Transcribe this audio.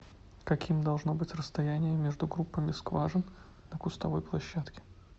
каким должно быть расстояние между группами скважин на кустовой площадке